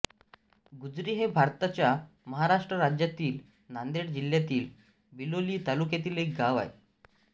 गुजरी हे भारताच्या महाराष्ट्र राज्यातील नांदेड जिल्ह्यातील बिलोली तालुक्यातील एक गाव आहे